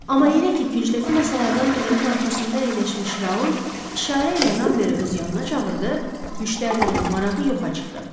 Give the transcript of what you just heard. Amma elə ki, küncdəki masalardan birinin arxasında əyləşmiş Raul işarə ilə Ramberi öz yanına çağırdı, müştərilərin marağı yoxa çıxdı.